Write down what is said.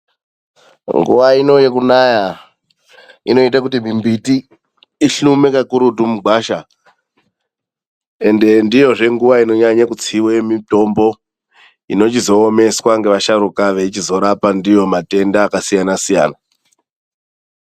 Nguwa ino yekunaya inoita kuti mbiti ihlume kakurutu mugwasha ende ndiyozve nguwa inonyanye kutsiwe mitombo inochizoomeswa ngeasharuka vachizorapa ndiyo matenda akasiyana siyana.